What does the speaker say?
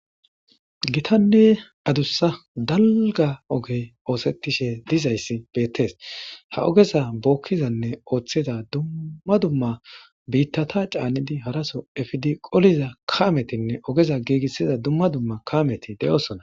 giitanne adussa dalgga ogey oosettishshe de'izayssi bettees ha ogeza bookkizanne ooththiza dummma dumma biittata cannidi haraso efidi qoliza kametinne ogeza giigissiza dumma dumma kameti de'oosona